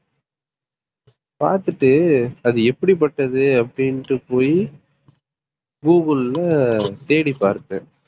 பார்த்துட்டு அது எப்படிப்பட்டது அப்படின்னுட்டு போயி google ல தேடி பார்த்தேன்